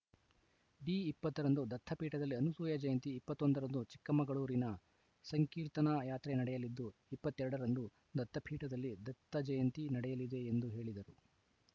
D ಇಪ್ಪತ್ತ ರಂದು ದತ್ತಪೀಠದಲ್ಲಿ ಅನುಸೂಯ ಜಯಂತಿ ಇಪ್ಪತ್ತ್ ಒಂದ ರಂದು ಚಿಕ್ಕಮಗಳೂರಿನಲ್ಲಿ ಸಂಕೀರ್ತನಾ ಯಾತ್ರೆ ನಡೆಯಲಿದ್ದು ಇಪ್ಪತ್ತ್ ಎರಡ ರಂದು ದತ್ತಪೀಠದಲ್ಲಿ ದತ್ತಜಯಂತಿ ನಡೆಯಲಿದೆ ಎಂದು ಹೇಳಿದರು